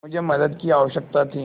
मुझे मदद की आवश्यकता थी